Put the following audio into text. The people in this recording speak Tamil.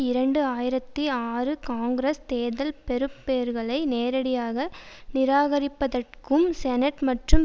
இரண்டு ஆயிரத்தி ஆறு காங்கிரஸ் தேர்தல் பெறுபேறுகளை நேரடியாக நிராகரிப்பதாகும் செனட் மற்றும்